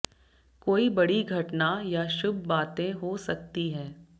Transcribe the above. कोई बड़ी घटना या शुभ बातें हो सकती है